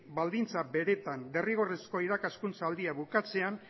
baldintza beretan derrigorrezko irakaskuntzaldia bukatzean